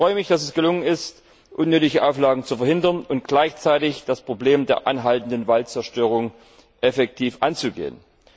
Ich freue mich, dass es gelungen ist, unnötige Auflagen zu verhindern und gleichzeitig das Problem der anhaltenden Waldzerstörung effektiv anzugehen.